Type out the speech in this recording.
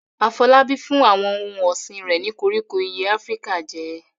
Afolabi fún àwọn ohun ọ̀sìn rẹ̀ ní koríko ìyẹ́ Áfíríkà jẹ.